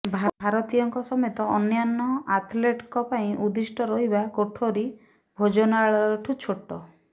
ଭାରତୀୟଙ୍କ ସମେତ ଅନ୍ୟାନ୍ୟ ଆଥ୍ଲେଟଙ୍କ ପାଇଁ ଉଦ୍ଦିଷ୍ଟ ରହିବା କୋଠରୀ ଭୋଜନାଳୟଠୁ ଛୋଟ